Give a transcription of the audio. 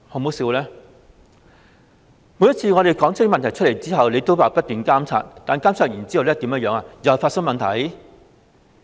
每次我們提出問題後，港鐵公司都說會不斷監察，但監察完後，又再發生問題。